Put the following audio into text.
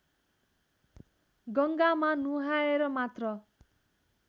गङ्गामा नुहाएर मात्र